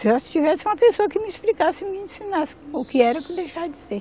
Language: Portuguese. Se eu tivesse uma pessoa que me explicasse, me ensinasse o que era e o que deixava de ser.